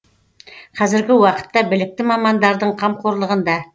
қазіргі уақытта білікті мамандардың қамқорлығында